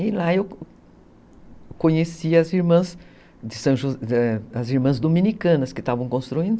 E lá eu conheci as irmãs dominicanas que estavam construindo.